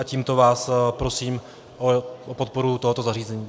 A tímto vás prosím o podporu tohoto zařazení.